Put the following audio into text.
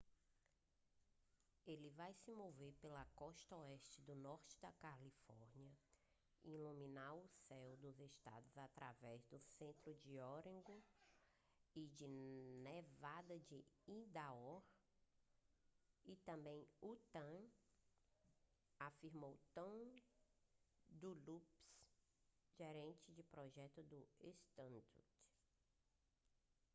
ele vai se mover pela costa oeste do norte da califórnia e iluminar o céu do estado através do centro de oregon e de nevada e idaho e também em utah afirmou tom duxbury gerente de projeto da stardust